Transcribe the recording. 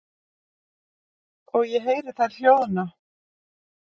Og ég heyri þær hljóðna.